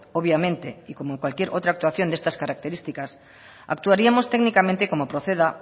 obviamente y como cualquier otra actuación de estas características actuaremos técnicamente como proceda